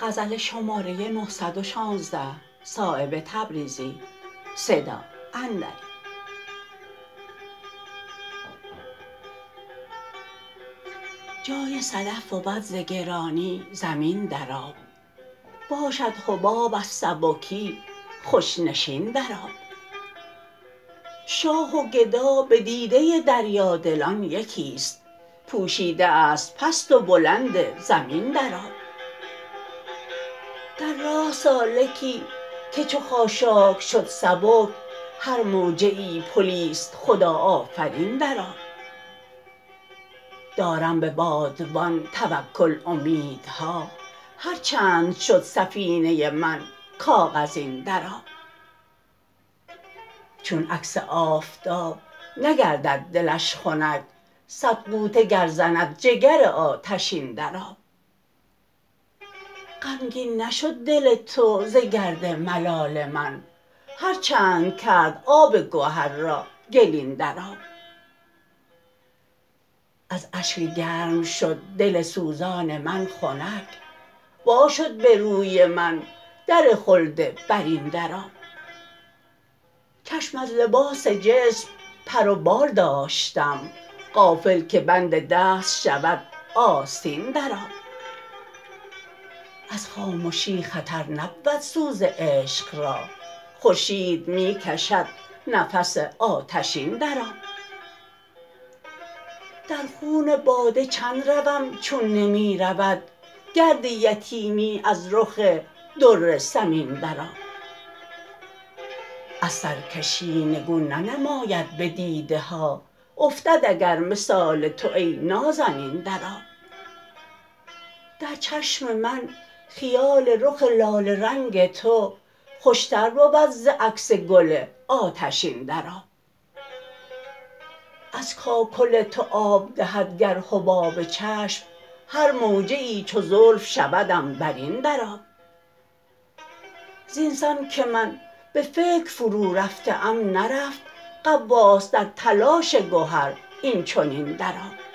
جای صدف بود ز گرانی زمین در آب باشد حباب از سبکی خوش نشین در آب شاه و گدا به دیده دریادلان یکی است پوشیده است پست و بلند زمین در آب در راه سالکی که چو خاشاک شد سبک هر موجه ای پلی است خدا آفرین در آب دارم به بادبان توکل امیدها هر چند شد سفینه من کاغذین در آب چون عکس آفتاب نگردد دلش خنک صد غوطه گر زند جگر آتشین در آب غمگین نشد دل تو ز گرد ملال من هر چند کرد آب گهر را گلین در آب از اشک گرم شد دل سوزان من خنک وا شد به روی من در خلد برین در آب چشم از لباس جسم پر و بال داشتم غافل که بند دست شود آستین در آب از خامشی خطر نبود سوز عشق را خورشید می کشد نفس آتشین در آب در خون باده چند روم چون نمی رود گرد یتیمی از رخ در ثمین در آب از سرکشی نگون ننماید به دیده ها افتد اگر مثال تو ای نازنین در آب در چشم من خیال رخ لاله رنگ تو خوشتر بود ز عکس گل آتشین در آب از کاکل تو آب دهد گر حباب چشم هر موجه ای چو زلف شود عنبرین در آب زینسان که من به فکر فرو رفته ام نرفت غواص در تلاش گهر این چنین در آب